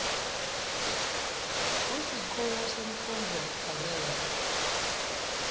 kusikhungo semfundvo lephakeme